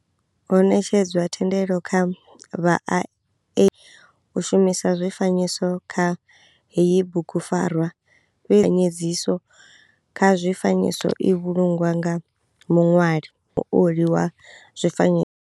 Ho netshedzwa thendelo kha vha u shumisa zwifanyiso kha heyi bugupfarwa fhe dziso kha zwifanyiso i vhulungwa nga muṋwali muoli wa zwifanyi.